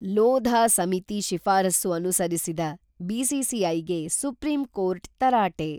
ಲೋಧಾ ಸಮಿತಿ ಶಿಫಾರಸು ಅನುಸರಿಸದ ಬಿಸಿಸಿಐಗೆ ಸುಪ್ರೀಂಕೋರ್ಟ್ ತರಾಟೆ.